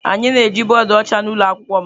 Anyị na-eji bọọdụ ọcha na ụlọ akwụkwọ m.